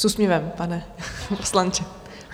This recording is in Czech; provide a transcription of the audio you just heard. S úsměvem, pane poslanče.